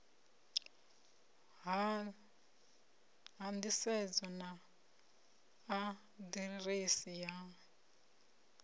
ha nḓisedzo na aḓirese ya